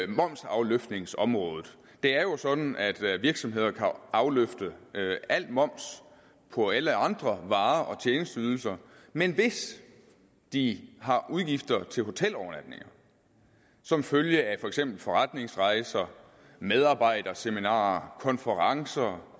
momsafløftningsområdet det er jo sådan at virksomheder kan afløfte al moms på alle andre varer og tjenesteydelser men hvis de har udgifter til hotelovernatninger som følge af for eksempel forretningsrejser medarbejderseminarer konferencer